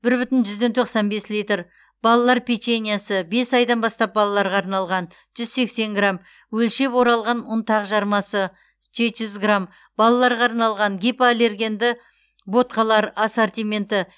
бір бүтін жүзден тоқсан бес литр балалар печеньесі бес айдан бастап балаларға арналған жүз сексен грамм өлшеп оралған ұнтақ жармасы жеті жүз грамм балаларға арналған гипоаллергенді ботқалар ассортименті